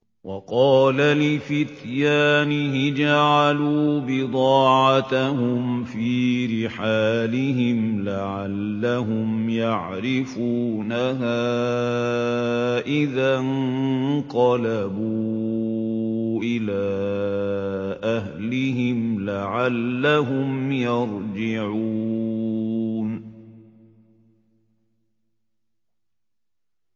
وَقَالَ لِفِتْيَانِهِ اجْعَلُوا بِضَاعَتَهُمْ فِي رِحَالِهِمْ لَعَلَّهُمْ يَعْرِفُونَهَا إِذَا انقَلَبُوا إِلَىٰ أَهْلِهِمْ لَعَلَّهُمْ يَرْجِعُونَ